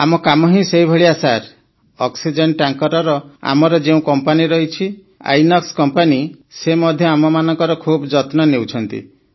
ଆମ କାମ ହିଁ ସେହି ଭଳିଆ ସାର୍ ଅକ୍ସିଜେନ ଟ୍ୟାଙ୍କରର ଆମର ଯେଉଁ କମ୍ପାନୀ ରହିଛି ଆଇନକ୍ସ କମ୍ପାନୀ ସେ ମଧ୍ୟ ଆମମାନଙ୍କର ଖୁବ ଯତ୍ନ ନେଉଛନ୍ତି